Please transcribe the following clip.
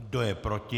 Kdo je proti?